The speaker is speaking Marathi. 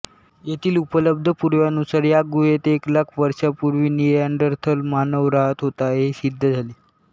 येथील उपलब्ध पुराव्यानुसार या गुहेत एक लाख वर्षांपूर्वी निएन्डरथल मानव राहत होता हे सिद्ध झाले